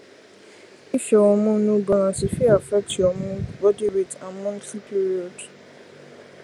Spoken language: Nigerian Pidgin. if your hormone no balance e fit affect your mood body weight and monthly period